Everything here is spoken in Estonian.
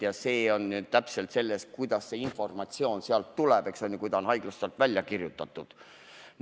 Ja see on nüüd täpselt sedasi, kuidas see informatsioon sealt tuleb, kui ta on haiglast välja kirjutatud.